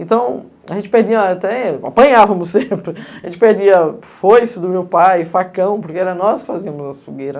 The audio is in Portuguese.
Então, a gente perdia até, apanhávamos sempre, a gente perdia foice do meu pai, facão, porque era nós que fazíamos as fogueira.